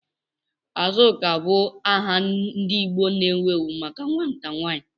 Azuka bụ aha ndị Igbo na-ewu ewu maka nwata nwanyị.